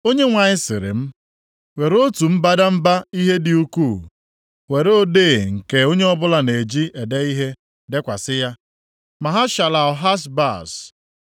Onyenwe anyị siri m, “Were otu mbadamba ihe dị ukwuu, were odee nke onye ọbụla na-eji ede ihe dekwasị ya Maha-shalal-Hash-Baz.